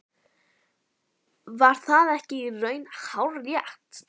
Var það ekki í raun hárrétt?